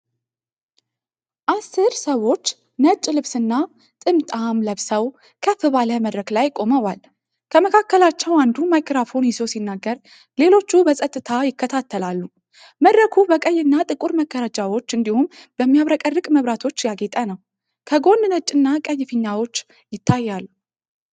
አስር ሰዎች ነጭ ልብስና ጥምጣም ለብሰው ከፍ ባለ መድረክ ላይ ቆመዋል። ከመካከላቸው አንዱ ማይክሮፎን ይዞ ሲናገር፣ ሌሎቹ በጸጥታ ይከታተላሉ። መድረኩ በቀይ እና ጥቁር መጋረጃዎች እንዲሁም በሚያብረቀርቅ መብራቶች ያጌጠ ነው። ከጎን ነጭ እና ቀይ ፊኛዎች ይታያሉ።